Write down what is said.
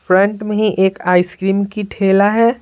Front में ही एक आइस क्रीम की ठेला है।